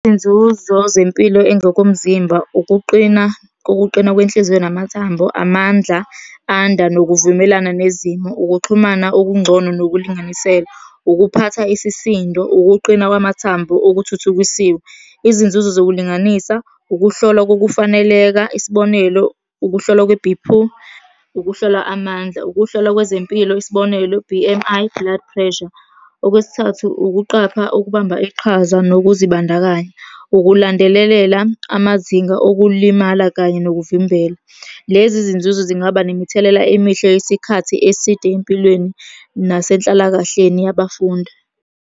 Iy'nzuzo zempilo engokomzimba ukuqina, kokuqina kwenhliziyo namathambo, amandla anda nokuvumelana nezimo, ukuxhumana okungcono nokulinganiselwa, ukuphatha isisindo, ukuqina kwamathambo okuthuthukisiwe. Izinzuzo zokulinganisa, ukuhlolwa kokufaneleka, isibonelo, ukuhlolwa kwe-B_P, ukuhlolwa amandla. Ukuhlolwa kwezempilo, isibonelo, B_M_I blood pressure. Okwesithathu, ukuqapha okubamba iqhaza nokuzibandakanya. Ukulandelelela amazinga okulimala, kanye nokuvimbela. Lezi zinzuzo zingaba nemithelela emihle yesikhathi eside empilweni nasenhlalakahleni yabafundi.